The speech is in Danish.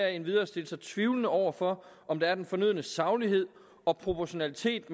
endvidere stille sig tvivlende overfor om der er den fornødne saglighed og proportionalitet